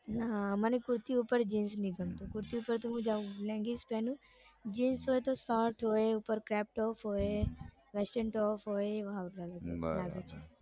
ના મને કુર્તી ઉપર જીન્સ નઈ ગમતું કુર્તી ઉપર તો હું લેંગીસ પહેરું જીન્સ હોય તો શર્ટ હોય ઉપર હોય western top હોય બરાબર